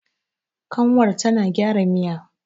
kanwar tana gyara Miya